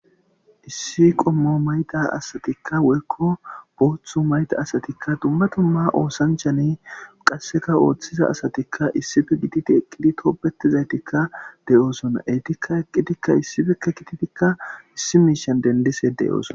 Issi qommo mayda asatikka woykko booththu mayda asatikka dumma dumma oosanchane qasseka ooththiza asatikka issipe gididi eqqidi tobbetizaytikka de7oosona etikka eqqidikka issipekke gididikka issi miishan dendishe deo'ssona.